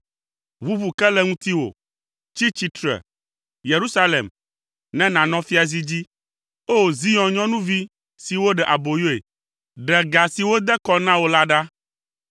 Ʋuʋu ke le ŋutiwò. Tsi tsitre! Yerusalem, ne nànɔ fiazi dzi. O! Zion nyɔnuvi si woɖe aboyoe, ɖe ga si wode kɔ na wò la ɖa.